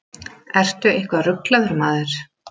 Ertu eitthvað ruglaður, maður?